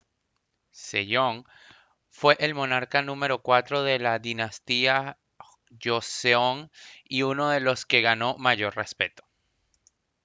sejong fue el monarca número cuatro de la dinastía joseon y uno de los que ganó mayor respeto